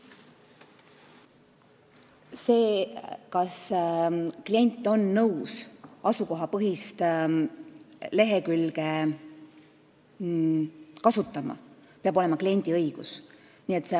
See, kas klient on nõus asukohapõhist lehekülge kasutama, peab olema kliendi õigus.